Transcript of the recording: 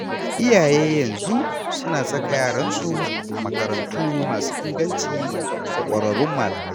Iyaye yanzu suna saka yaransu a makarantu masu inganci da ƙwararrun malamai.